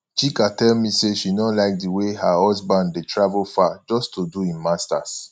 chika tell me say she no like the way her husband dey travel far just to do im masters